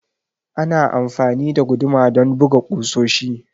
Ana amfani da guduma don buga kusoshi.